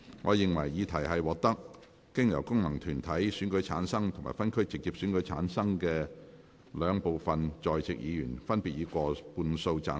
我認為議題獲得經由功能團體選舉產生及分區直接選舉產生的兩部分在席議員，分別以過半數贊成。